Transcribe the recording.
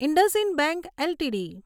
IndusInd bank LTD